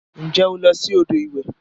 Nje o lo si odo iwe?